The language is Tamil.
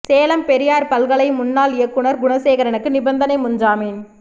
சேலம் பெரியார் பல்கலை முன்னாள் இயக்குநர் குணசேகரனுக்கு நிபந்தனை முன் ஜாமீன்